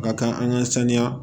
Ka kan an ka sanuya